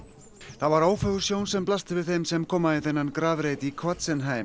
það var ófögur sjón sem blasti við þeim sem koma í þennan grafreit í